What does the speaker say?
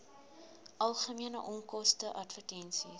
algemene onkoste advertensies